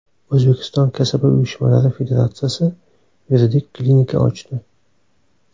O‘zbekiston Kasaba uyushmalari federatsiyasi yuridik klinika ochdi.